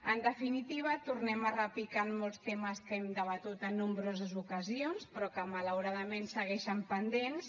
en definitiva tornem a repicar en molts temes que hem debatut en nombroses ocasions però que malauradament segueixen pendents